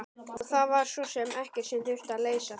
Og það var svo sem ekkert sem þurfti að leysa.